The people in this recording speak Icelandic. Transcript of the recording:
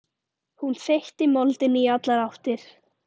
Hún þeytti moldinni í allar áttir.